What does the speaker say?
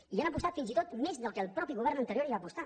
hi han apostat fins i tot més del que el mateix govern anterior hi va apostar